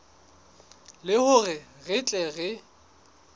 le hore re tle re